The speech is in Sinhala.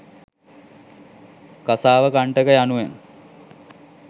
කාසාවකණ්ඨක යනුවෙන්